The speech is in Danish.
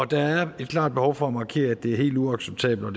der er et klart behov for at markere at det er helt uacceptabelt og